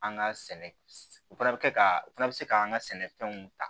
An ka sɛnɛ u fana bɛ kɛ ka u fana bɛ se k'an ka sɛnɛfɛnw ta